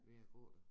Ved at gå der